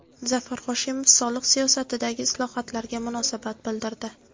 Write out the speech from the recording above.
Zafar Hoshimov soliq siyosatidagi islohotlarga munosabat bildirdi.